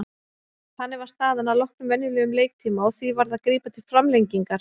Þannig var staðan að loknum venjulegum leiktíma og því varð að grípa til framlengingar.